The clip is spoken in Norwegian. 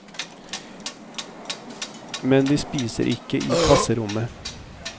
Men de spiser ikke i klasserommet.